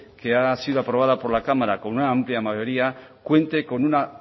que ha sido aprobado por la cámara con una amplia mayoría cuente